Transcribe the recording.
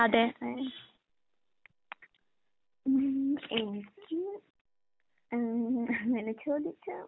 വേറെ ഉം എനിക്ക് ഏഹ് അങ്ങനെ ചോദിച്ചാ